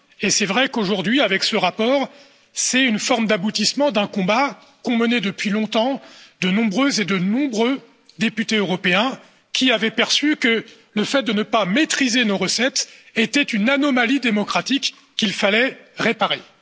Il est vrai qu'aujourd'hui, avec ce rapport, c'est une forme d'aboutissement d'un combat qu'ont mené depuis longtemps de nombreuses et de nombreux députés européens qui avaient perçu que le fait de ne pas maîtriser nos recettes était une anomalie démocratique qu'il fallait réparer.